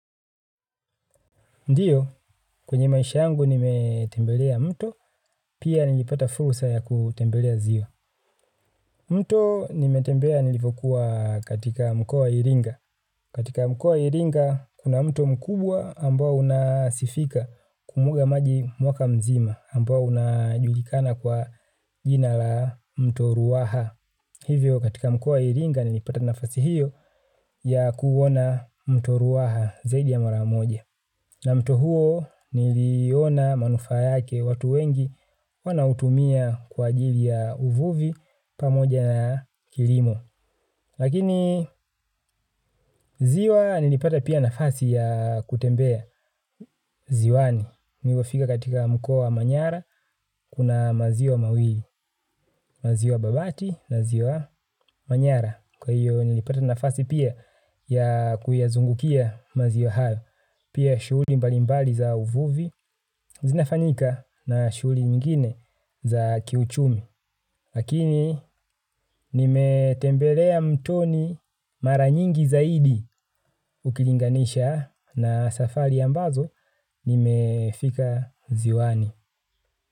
Ndiyo, kwenye maisha yangu nimetembelea mto, pia nilipata fursa ya kutembelea ziwa. Mto nimetembelea nilivyokuwa katika mkoa wa iringa. Katika mkoa wa iringa, kuna mto mkubwa ambao unasifika kumwaga maji mwaka mzima ambao unajulikana kwa jina la mto ruaha. Hivyo, katika mkoa wa iringa, nilipata nafasi hiyo ya kuona mto ruaha zaidi ya maramoja. Na mto huo niliona manufaa yake watu wengi wanautumia kwa ajili ya uvuvi pamoja na kilimo. Lakini ziwa nilipata pia nafasi ya kutembea ziwani. Nimeifika katika mkoa wa manyara kuna maziwa mawili, maziwa babati na ziwa manyara. Kwa hiyo nilipata nafasi pia ya kuyazungukia maziwa hayo. Pia shugli mbalimbali za uvuvi zinafanyika na shugli nyingine za kiuchumi lakini nimetembelea mtoni mara nyingi zaidi. Ukilinganisha na safari ambazo nimefika ziwani.